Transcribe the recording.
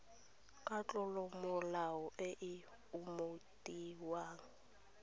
ka tlolomolao e e umakiwang